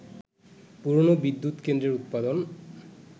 পুরনো বিদ্যুৎকেন্দ্রের উৎপাদন